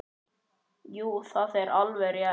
Jú, það er alveg rétt.